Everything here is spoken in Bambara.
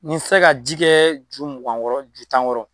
Ni sera ka ji kɛ ju mugan kɔrɔ ju tan kɔrɔ.